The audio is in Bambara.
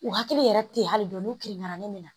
U hakili yɛrɛ tɛ ye hali dɔɔnin n'u kirina ne na